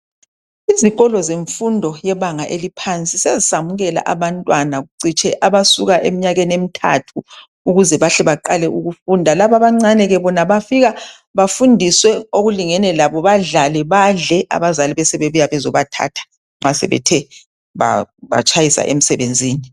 Izikolo zemfundo eyebangeni eliphansi seziyamukela abantwana kucitshe abasukela emnyakeni emithathu ukuze bahle beqale ukufunda, laba abancane bona bafike befundiswe okulingene labo badlale badle abazali besebebuye bezoba thatha nxasebe tshayisile emsebenzini.